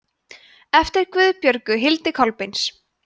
eftir guðbjörgu hildi kolbeins